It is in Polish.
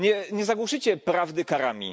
Nie zagłuszycie prawdy karami.